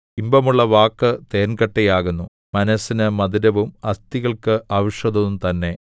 ഇമ്പമുള്ള വാക്ക് തേൻകട്ടയാകുന്നു മനസ്സിന് മധുരവും അസ്ഥികൾക്ക് ഔഷധവും തന്നെ